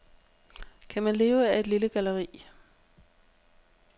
Kan man leve af et lille galleri?